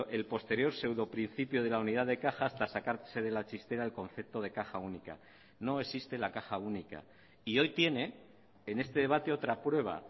el posterior seudoprincipio de la unidad de caja hasta sacarse de la chistera el concepto de caja única no existe la caja única y hoy tiene en este debate otra prueba